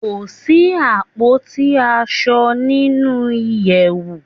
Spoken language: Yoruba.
Kò sí àpótí aṣo nínú ìyèwù.